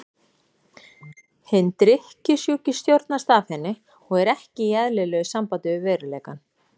Hinn drykkjusjúki stjórnast af henni og er ekki í eðlilegu sambandi við veruleikann.